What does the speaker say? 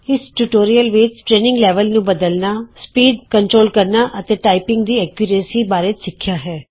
ਇਸ ਟਿਯੂਟੋਰੀਅਲ ਵਿਚ ਅਸੀਂ ਟਰੇਨਿੰਗ ਲੈਵਲ ਨੂੰ ਬਦਲਨਾ ਸਪੀਡ ਨਿੱਰੀਖਣ ਕਰਨਾ ਅਤੇ ਟਾਈਪਿੰਗ ਦੀ ਸ਼ੁੱਧਤਾ ਬਾਰੇ ਸਿੱਖਿਆ ਹੈ